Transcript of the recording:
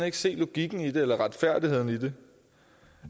ikke se logikken eller retfærdigheden i det